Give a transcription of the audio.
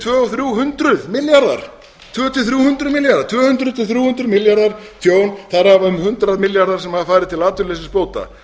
tvö hundruð til þrjú hundruð milljarða tjón þar af um hundrað milljarðar sem hafa farið til atvinnuleysisbóta